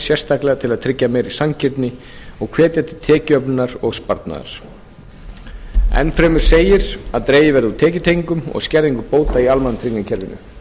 sérstaklega til að tryggja meiri sanngirni og hvetja til tekjuöflunar og sparnaðar enn fremur segir að dregið verði úr tekjutengingum og skerðingum bóta í almannatryggingakerfinu